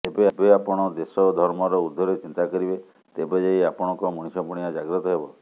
ଯେବେ ଆପଣ ଦେଶ ଓ ଧର୍ମର ଊର୍ଦ୍ଧ୍ୱରେ ଚିନ୍ତା କରିବେ ତେବେ ଯାଇ ଆପଣଙ୍କ ମଣିଷପଣିଆ ଜାଗ୍ରତ ହେବ